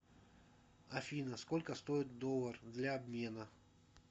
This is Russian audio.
афина сколько стоит доллар для обмена